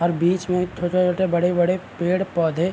और बीच में छोटे-छोटे बड़े-बड़े पेड़-पौधे --